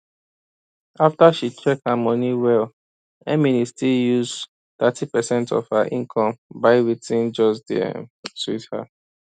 after she check her money well emily still dey use thirty percent of her income buy wetin just dey um sweet her